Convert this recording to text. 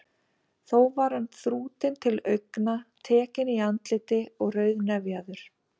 Þó var hann þrútinn til augna, tekinn í andliti og rauðnefjaður.